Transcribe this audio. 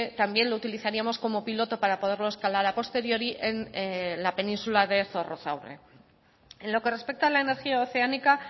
también les utilizaríamos como piloto para poderlo escalar a posteriori en la península de zorrozaurre en los que respecta a la energía oceánica